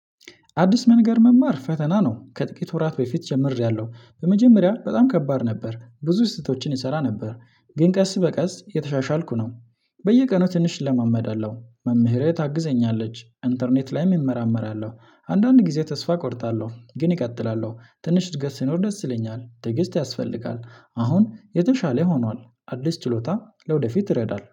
አዲስ መንገድ መማር ፈተና ነው። ከጥቂት ወራት በፊት ጀምሬያለሁ በመጀመሪያ በጣም ከባድ ነበር ብዙ ስህተቶችን እሰራ ነበር ግን ቀስ በቀስ የተሻሻልኩ ነው። በየቀኑ ትንሽ እለመዳለሁ መምህሬ ታግዘኛለች ኢንተርኔት ላይም እመራመራለሁ። አንዳንድ ጊዜ ተስፋ እቆርጣለሁ ግን እቀጥላለሁ ትንሽ እድገት ሲኖር ደስ ይለኛል። ትዕግስት ያስፈልጋል አሁን የተሻለ ሆኗል። አዲስ ችሎታ ለወደፊት ይረዳል